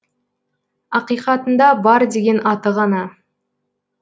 ақиқатында бар деген аты ғана